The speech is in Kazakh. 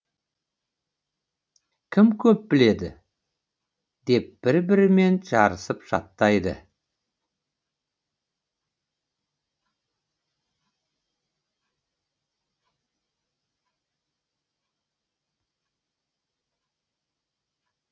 кім көп біледі деп бір бірімен жарысып жаттайды